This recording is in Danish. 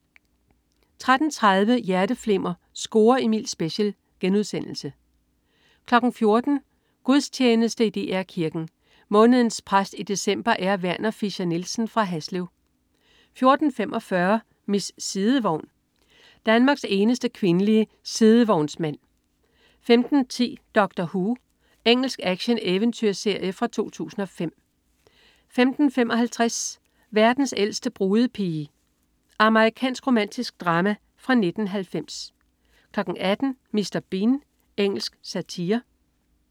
13.30 Hjerteflimmer: Score Emil special* 14.00 Gudstjeneste i DR Kirken. Månedens præst i december er Werner Fischer-Nielsen fra Haslev 14.45 Miss Sidevogn. Danmarks eneste kvindelige sidevognsmand 15.10 Doctor Who. Engelsk action-eventyrserie fra 2005 15.55 Verdens ældste brudepige. Amerikansk romantisk drama fra 1990 18.00 Mr. Bean. Engelsk satire